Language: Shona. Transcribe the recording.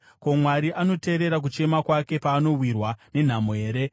Ko, Mwari anoteerera kuchema kwake paanowirwa nenhamo here?